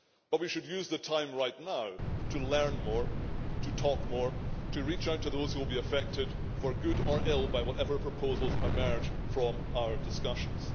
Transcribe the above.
But we should use the time right now to learn more, to talk more, and to reach out to those who will be affected, for good or ill, by whatever proposals emerge from our discussions.